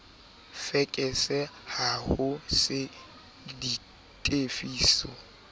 fekese ha ho se ditefiso